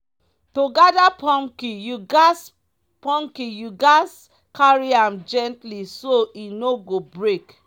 to gather pumpkin you gatz pumpkin you gatz carry am gently so e no go break.